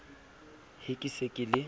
he ke se ke le